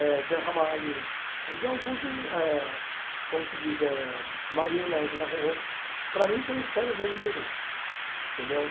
Eh Zé Ramalho, então eu curto, eh como se diz, eh Marina, Angela Ro Ro, para mim são os feras da eme pê bê entendeu?